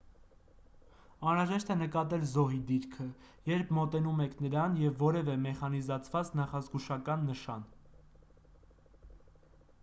անհրաժեշտ է նկատել զոհի դիրքը երբ մոտենում եք նրան և որևէ մեխանիզացված նախազգուշական նշան